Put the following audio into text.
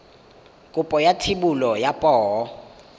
kopo ya thebolo ya poo